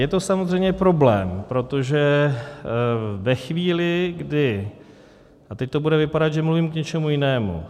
Je to samozřejmě problém, protože ve chvíli, kdy - a teď to bude vypadat, že mluvím, k něčemu jinému.